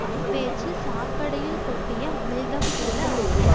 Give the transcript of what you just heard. அப்பேச்சு சாக்கடையுள் கொட்டிய அமிழ்தம் போல ஆகும்